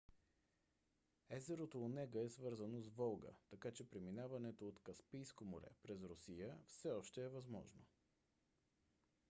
езерото онега е свързано с волга така че преминаването от каспийско море през русия все още е възможно